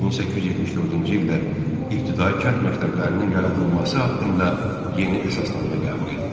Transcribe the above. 1874-cü ildə ibtidai kənd məktəblərinin yaradılması haqqında yeni əsasnamə qəbul edildi.